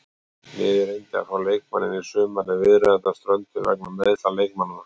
Liðið reyndi að fá leikmanninn í sumar en viðræðurnar strönduðu vegna meiðsla leikmannanna.